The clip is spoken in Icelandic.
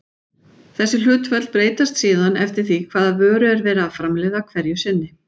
Þessi hlutföll breytast síðan eftir því hvaða vöru er verið að framleiða hverju sinni.